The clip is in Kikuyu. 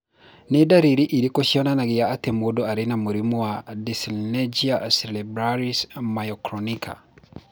Nĩ ndariri irĩkũ cionanagia atĩ mũndũ arĩ na mũrimũ wa Dyssynergia cerebellaris myoclonica?